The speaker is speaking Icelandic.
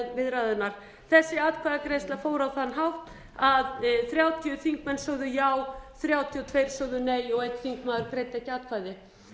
viðræðurnar þessi atkvæðagreiðsla fór á þann hátt að þrjátíu þingmenn sögðu já þrjátíu og tvö sögðu nei og einn þingmaður greiddi ekki atkvæði